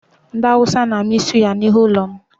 Ndị Awụsa na-amị suya n'ihu ụlọ m